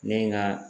Ne ye n ka